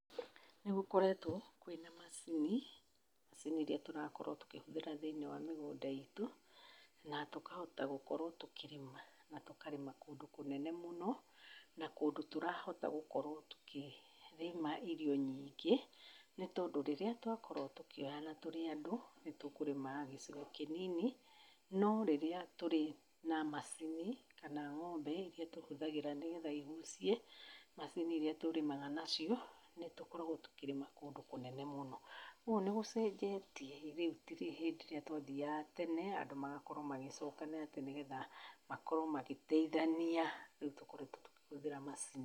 Nĩgũkoretwo kwĩna macini, macini ĩrĩa tũrakorwo tũkĩhũthĩra thĩiniĩ wa mĩgũnda itũ na tũkahota gũkorwo tũkĩrĩma na tũkarĩma kũndũ kũnene mũno, na kũndũ tũrahota gũkorwo tũkĩrĩma irio nyingĩ nĩ tondũ rĩrĩa twakorwo tũkĩoyana tũrĩ andũ, nĩ tũkũrĩma gĩcigo kĩnini, no rĩrĩa tũrĩ na macini kana ng'ombe iria tũhũthagĩra nĩgetha igucie macini iria tũrĩmaga nacio, nĩ tũkoragwo tũkĩrĩma kũndũ kũnene mũno. Koguo nĩ gũcenjetie rĩu ti hĩndĩ ĩrĩa twathiaga tene andũ magakorwo magĩcokana atĩ nĩgetha makorwo magĩteithania, nĩtũkoretwo tũkĩhũthĩra macini.